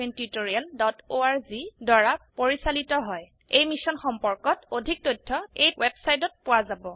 এই মিশ্যন সম্পৰ্কত অধিক তথ্য spoken hyphen tutorial dot org slash এনএমইআইচিত হাইফেন ইন্ট্ৰ ৱেবচাইটত পোৱা যাব